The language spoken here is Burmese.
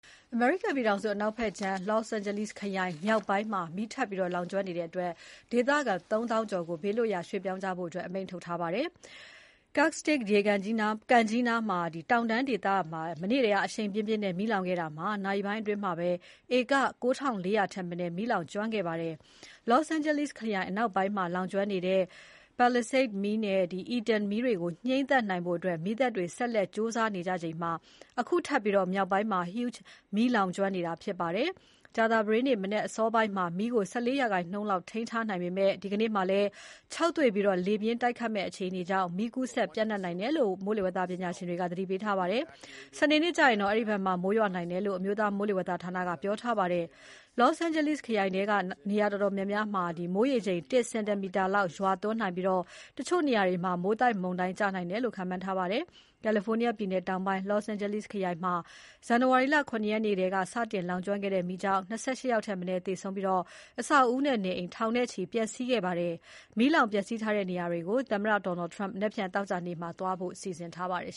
အမေရိကန်ပြည်ထောင်စုအနောက်ဘက်ခြမ်းက Los Angeles ခရိုင်မြောက်ပိုင်းမှာ ဗုဒ္ဓဟူးနေ့က နောက်ထပ် လောင်ကျွမ်းနေတဲ့အတွက် ဒေသခံ ၃၀၀၀၀ ကျော်ကို ဘေးလွတ်ရာသွားဖို့ အမိန့်ထုတ်ထားပါတယ်။ Castaic ကန်ကြီးနားက တောင်တန်းဒေသမှာ မနေ့ကတည်းက အရှိန်ပြင်းပြင်းနဲ့ မီးလောင်ခဲ့တာမှာ နာရီပိုင်းအတွင်းမှာပဲ ဧက ၉၄၀၀ ထက်မနည်း မီးလောင်ကျွမ်းခဲ့ပါတယ်။ Los Angeles ခရိုင်အနောက်ပိုင်းမှာ လောင်ကျွမ်းနေတဲ့ Palisades Fire မီးနဲ့Eaton Fire မီးတွေကို ငြှိမ်းသတ်နိုင်ဖို့ မီးသတ်တွေ ဆက်လက် ကြိုးစားနေကြချိန်မှာ အခုထပ်ပြီး မြောက်ပိုင်းမှာ Hughes Fire မီးလောင်ကျွမ်းနေတာဖြစ်ပါတယ်။ ကြာသပတေးနေ့ မနက်အစောပိုင်းမှာ မီးကို ၁၄ ရာခိုင်နှုန်းလောက် ထိန်းထားနိုင်ပေမဲ့ ဒီနေ့မှာလည်း ခြောက်သွေ့ပြီး လေပြင်းတိုက်ခတ်မယ့် အခြေအနေကြောင့် မီးကူးစက် ပျံ့နှံ့နိုင်တယ်လို့ မိုးလေဝသပညာရှင်တွေက သတိပေးထားပါတယ်။ စနေနေ့ကျရင်တော့ အဲဒီဘက်မှာ မိုးရွာနိုင်တယ်လို့ အမျိုးသား မိုးလေဝသဌာနက ပြောထားပါတယ်။ Los Angeles ခရိုင်ထဲက နေရာတော်တော်များများမှာ မိုးရေချိန် ၁ စင်တီမီတာလောက် ရွာသွန်းနိုင်ပြီး တချို့နေရာတွေမှာ မိုးသက်မုန်တိုင်းကျနိုင်တယ်လို့ ခန့်မှန်းထားပါတယ်။ ကယ်လီဖိုးနီးယားပြည်နယ်တောင်ပိုင်း Los Angeles ခရိုင်မှာ ဇန်နဝါရီလ ၇ ရက်မှာ စတင်လောင်ကျွမ်းခဲ့တဲ့မီးကြောင့် ၂၈ ယောက်ထက်မနည်း သေဆုံးပြီး အဆောက်အဦနဲ့ နေအိမ်ထောင်နဲ့ချီ ပျက်စီးခဲ့ပါတယ်။ မီးလောင်ပျက်စီးထားတဲ့နေရာတွေကို သမ္မတ Donald Trump မနက်ဖြန် သောကြာနေ့မှာ သွားဖို့ စီစဉ်ထားပါတယ်